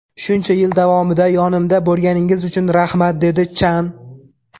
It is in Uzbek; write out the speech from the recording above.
Shuncha yil davomida yonimda bo‘lganingiz uchun rahmat”, dedi Chan.